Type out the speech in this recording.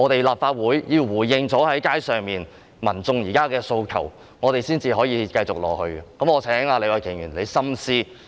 立法會應該先回應街上民眾現時的訴求，才可以繼續進行會議。